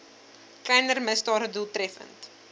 kleiner misdade doeltreffend